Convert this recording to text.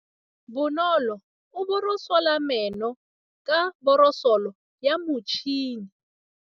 Bonolô o borosola meno ka borosolo ya motšhine.